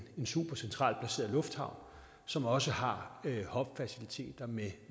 en supercentralt placeret lufthavn som også har hubfaciliteter med